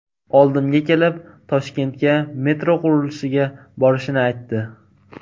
Oldimga kelib Toshkentga metro qurilishiga borishini aytdi.